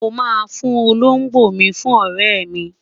mo ma fún Olongbo mi fún ọrẹ mi